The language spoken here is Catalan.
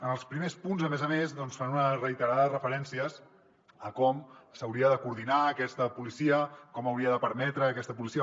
en els primers punts a més a més doncs fan unes reiterades referències a com s’hauria de coordinar aquesta policia com hauria de permetre aquesta policia